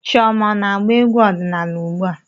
Chioma ọ na-agba egwú ọdịnaala ugbu a?